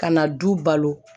Ka na du balo